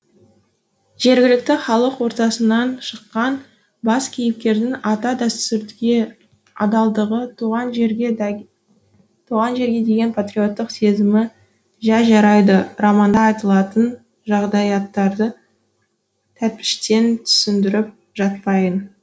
жергілікті халық ортасынан шыққан бас кейіпкердің ата дәстүрге адалдығы туған жерге деген патриоттық сезімі жә жарайды романда айтылатын жағдаяттарды тәтпіштеп түсіндіріп жатпайын